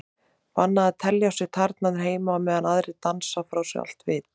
Bannað að telja á sér tærnar heima á meðan aðrir dansa frá sér allt vit.